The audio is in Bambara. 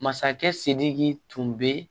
Masakɛ sidiki tun bɛ